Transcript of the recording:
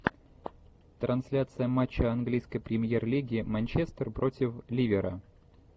трансляция матча английской премьер лиги манчестер против ливера